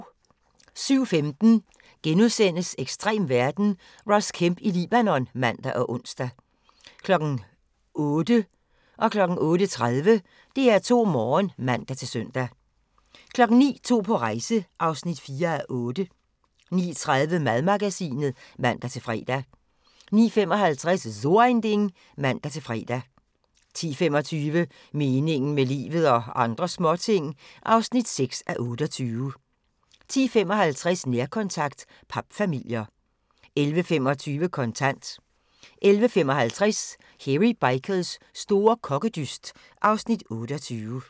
07:15: Ekstrem verden – Ross Kemp i Libanon *(man og ons) 08:00: DR2 Morgen (man-søn) 08:30: DR2 Morgen (man-søn) 09:00: To på rejse (4:8) 09:30: Madmagasinet (man-fre) 09:55: So Ein Ding (man-fre) 10:25: Meningen med livet – og andre småting (6:28) 10:55: Nærkontakt – papfamilier 11:25: Kontant 11:55: Hairy Bikers store kokkedyst (Afs. 28)